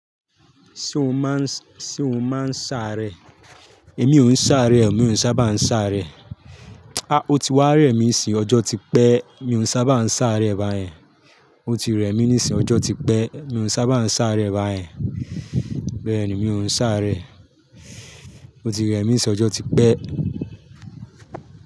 Ṣé o máa ń, sé o máa ń sáré? Èmi ò ń sáré o, mi ò sábà ń sáré. A! Ó ti wá rẹ mí n sín ọjọ́ ti pẹ́ mi ò sábà ń sáré báyẹn. Ó ti rẹ mí nísìn, ọjọ́ ti pẹ́, mi ò sábà ń sáré báyẹn. Bẹ́ẹ̀ni, mi ò ń sáré. Ó ti rẹ mí nsín, ọjọ́ ti pẹ́.